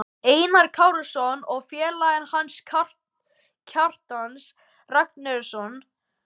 Einars Kárasonar, og félaga hans, Kjartans Ragnarssonar.